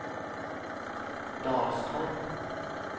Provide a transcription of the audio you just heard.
Dalstorp